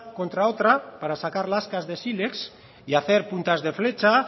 contra otra para sacar lascas de siles y hacer puntas de flecha